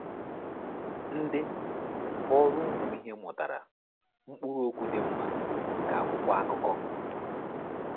Ndị ghọrọ ụmụ ìhè mụtara “ụkpụrụ okwu dị mma” nke akwụkwọ akụkọ.